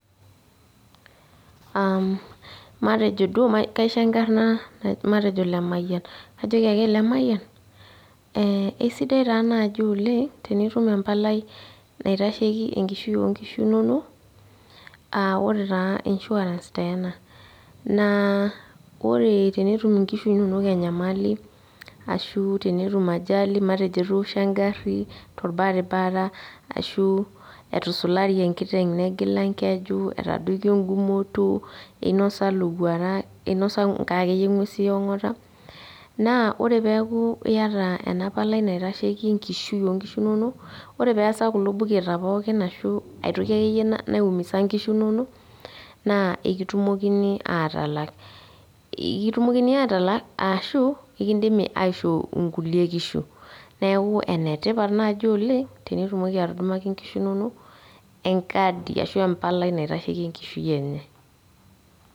Matejo duo kaisho enkarna matejo Lemayian. Kajoki ake, " Lemayian, kesidai taa naaji oleng tenitum empalai naitasheki enkishui onkishu inonok, ah ore taa insurance taa ena. Naa ore tenetum inkishu inonok enyamali, ashu tenetum ajali, matejo etoosho egarri torbaribara, ashu etusulari enkiteng negila enkeju, etadoikio egumoto, einosa lowuarak, inosa nkae akeyie ng'uesi eong'ata, naa ore peeku iyata enapalai naitasheki enkishui onkishu inonok, ore peesa kulo buketa pookin ashu aitoki akeyie naumisa nkishu inonok, naa ekitumokini atalak. Ekitumokini atalak ashu, ekidimi aishoo inkulie kishu. Neeku enetipat naji oleng, tenitumoki atudumaki nkishu nonok, enkadi ashu empalai naitasheki enkishui nye".